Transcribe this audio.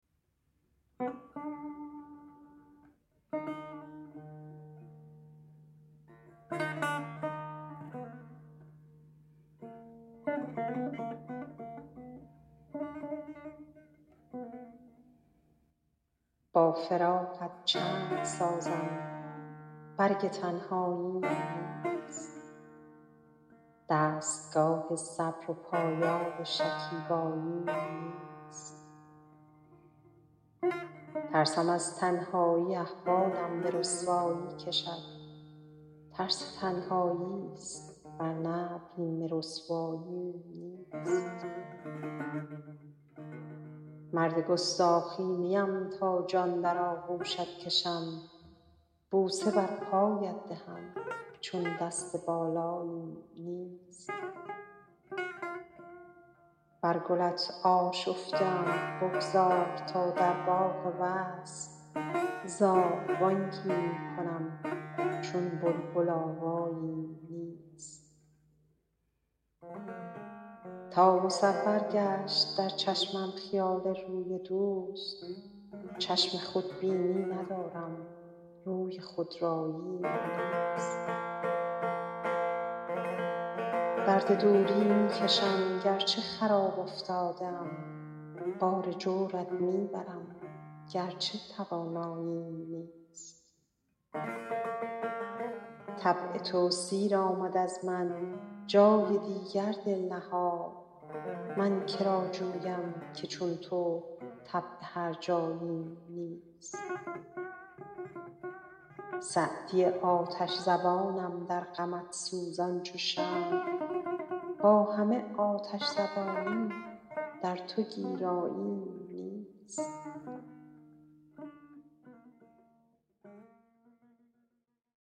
با فراقت چند سازم برگ تنهاییم نیست دستگاه صبر و پایاب شکیباییم نیست ترسم از تنهایی احوالم به رسوایی کشد ترس تنهایی ست ور نه بیم رسواییم نیست مرد گستاخی نیم تا جان در آغوشت کشم بوسه بر پایت دهم چون دست بالاییم نیست بر گلت آشفته ام بگذار تا در باغ وصل زاغ بانگی می کنم چون بلبل آواییم نیست تا مصور گشت در چشمم خیال روی دوست چشم خودبینی ندارم روی خودراییم نیست درد دوری می کشم گر چه خراب افتاده ام بار جورت می برم گر چه تواناییم نیست طبع تو سیر آمد از من جای دیگر دل نهاد من که را جویم که چون تو طبع هرجاییم نیست سعدی آتش زبانم در غمت سوزان چو شمع با همه آتش زبانی در تو گیراییم نیست